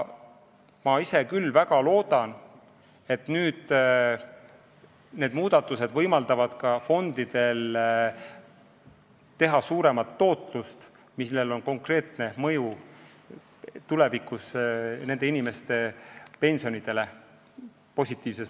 Ma ise küll väga loodan, et need muudatused võimaldavad ka fondidel saavutada suuremat tootlust, millel on positiivses mõttes konkreetne mõju tulevikus inimeste pensionidele.